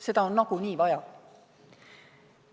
Seda on nagunii vaja.